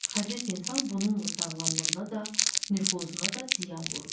Xəsis insan bununla sağlamlığına da, nüfuzuna da ziyan vurur.